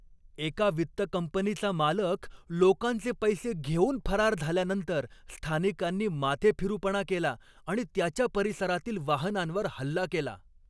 एका वित्त कंपनीचा मालक लोकांचे पैसे घेऊन फरार झाल्यानंतर स्थानिकांनी माथेफिरूपणा केला आणि त्याच्या परिसरातील वाहनांवर हल्ला केला.